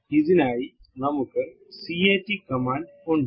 ഇതിനായി നമുക്ക് cut command ഉണ്ട്